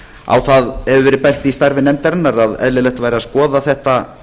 á það hefur verið bent í starfi nefndarinnar að eðlilegt væri að skoða þetta